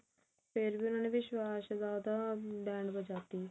ਫ਼ੇਰ ਵੀ ਉਹਨਾਂ ਨੇ ਵਿਸ਼ਵਾਸ ਦਾ ਤਾਂ